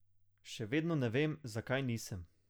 Še vedno ne vem, zakaj nisem.